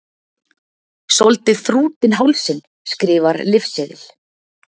Soldið þrútinn hálsinn, skrifar lyfseðil.